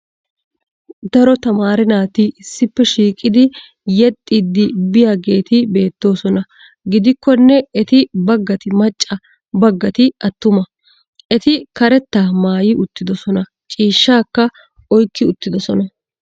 Daro tamaare naati issippe shiiqidi yexxiidi biyaageeti beettoosona. Gidikkonne eti bagati macca bagati attumma, Eti karetta maayi uttidosona ciishshaakka oykki uttidosona.